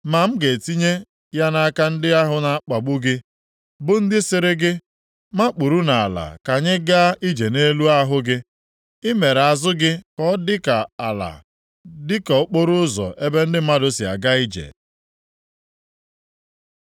Ma m ga-etinye ya nʼaka ndị ahụ na-akpagbu gị, bụ ndị sịrị gị, ‘makpuru nʼala ka anyị gaa ije nʼelu ahụ gị.’ I mere azụ gị ka ọ dị ka ala, dịka okporoụzọ ebe ndị mmadụ si aga ije.”